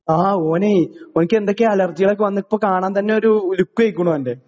ആ ഓനെയ് ഓൻക്കെന്തൊക്കെ അല്ലെർജിയാളൊക്കെ വന്ന് ഇപ്പൊ കാണാൻ തന്നൊരു ലുക്ക് പോയ്ക്കുണു ഓന്റെ.